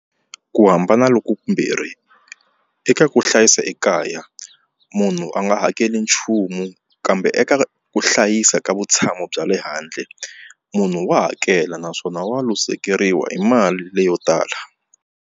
Ku hambana loku ku mbirhi eka ku hlayisa ekaya munhu a nga hakeli nchumu kambe eka ku hlayisa ka vutshamo bya le handle munhu wa hakela naswona wa luzekeriwa hi mali leyo tala.